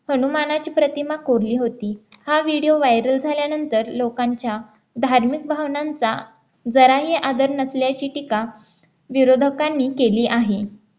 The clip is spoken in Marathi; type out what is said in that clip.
हनुमानाची प्रतिमा कोरली होती हा व्हिडिओ व्हायरल झाल्यानंतर लोकांच्या धार्मिक भावनांचा जराही आदर नसल्याची टीका विरोधकांनी केली आहे